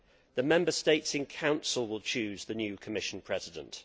The Member States in Council will choose the new Commission President.